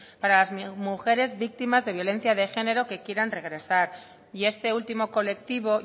para las mujeres víctimas de violencia de género que quieran regresar y este último colectivo